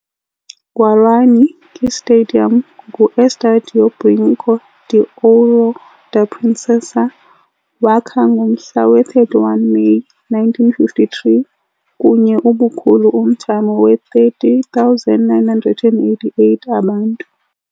Guarani ke stadium ngu Estádio Brinco de Ouro da Princesa, wakha ngomhla we-31 Meyi, 1953, kunye ubukhulu umthamo we 30,988 abantu.